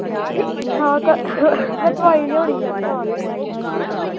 ਠੀਕ ਠਾਕ ਆ ਮੈਂ ਦਵਾਈ ਲਿਆਉਣੀ ਆ ਯਾਰ